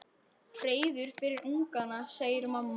Hreiður fyrir ungana, segir mamma.